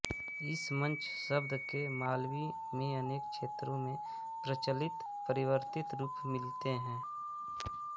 इस मंच शब्द के मालवी में अनेक क्षेत्रों में प्रचलित परिवर्तित रूप मिलते हैं